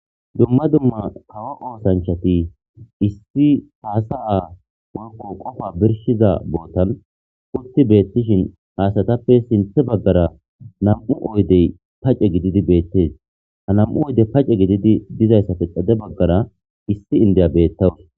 Duma duma kawo oosanchati issi hasa'a woyko qopa birshiza botan utti betishi ha asatappe sintha bagara nam'u oydey pace gididi beetes ha nam'u oydey pace gididi dizaysappe xade bagara issi inda betaws